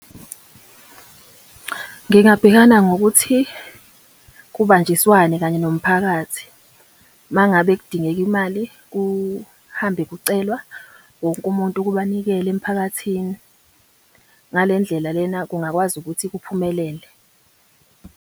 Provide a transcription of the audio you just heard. Ngingabhekana ngokuthi kubanjiswane kanye nomphakathi. Uma ngabe kudingeka imali, kuhambe kucelwa wonke umuntu ukuba anikele emphakathini. Ngale ndlela lena kungakwazi ukuthi kuphumelele.